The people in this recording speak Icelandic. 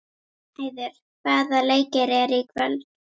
Hrafnheiður, hvaða leikir eru í kvöld?